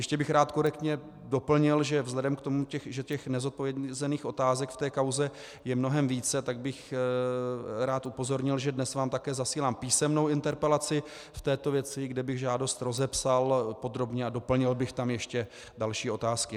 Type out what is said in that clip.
Ještě bych rád korektně doplnil, že vzhledem k tomu, že těch nezodpovězených otázek v té kauze je mnohem více, tak bych rád upozornil, že dnes vám také zasílám písemnou interpelaci v této věci, kde bych žádost rozepsal podrobně a doplnil bych tam ještě další otázky.